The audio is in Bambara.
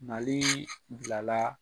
Ale bila la.